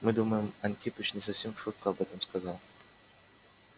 мы думаем антипыч не совсем в шутку об этом сказал